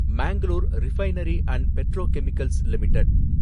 Mangalore refinery and petrochemicals limited